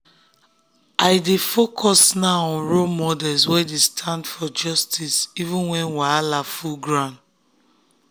i i dey focus now on role models wey dey stand for justice even when wahala full ground.